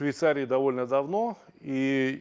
швейцария довольно давно и